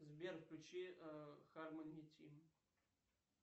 сбер включи хармони тим